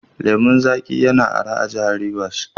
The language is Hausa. Lemon zaƙi yana araha a Jihar Rivers.